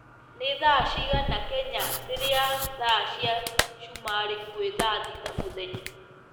ni thaa cĩĩgana Kenya rĩrĩa thaa cĩa sumari kwi thaa thĩta mũthenya